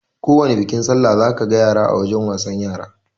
Akowani bikin sallah za ka ga yara wajen wasan yara